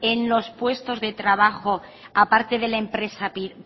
en los puestos de trabajo aparte de la empresa